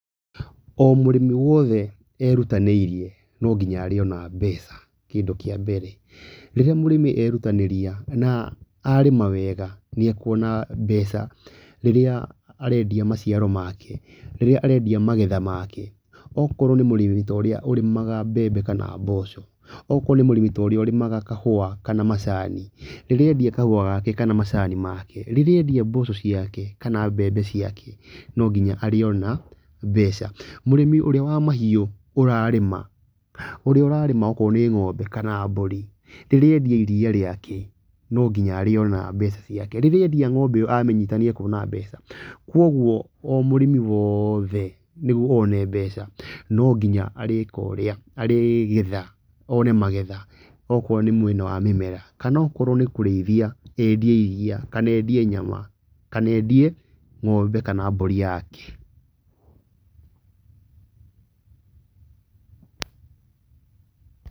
O mũrĩmi wothe erutanĩirie no nginya arĩona mbeca, kĩndũ kĩa mbere, rĩrĩa mũrĩmi erutanĩria na arĩma wega nĩ akuona mbeca na rĩrĩa arendia maciaro make rĩrĩa arendia magetha make okorwo nĩ mũrĩmi ta ũrĩa ũrĩmaga mbembe kana mboco okorwo nĩ mũrĩmi torĩa ũrĩmaga kahũa kana macani rĩrĩa endia kahũa gake kana macani make rĩrĩa endia mboco ciake kana mbembe ciake, no nginya arĩona mbeca, mũrĩmi ũrĩa wa mahiũ ũrarĩma ũrĩa ũrarĩma okorwo nĩ ng’ombe kana mbũri rĩrĩa endia iria rĩake, no nginya arĩona mbeca ciake rĩrĩa endia ng’ombe iyo amĩnyita nĩakuona mbeca koguo o mũrĩmi woothe nĩguo one mbeca nonginya arĩgetha one magetha okorwo nĩ mwena mĩmera kana okorwo nĩ kũrĩithia endie iria kana endie nyama kana endie ng’ombe kana mbũri yake.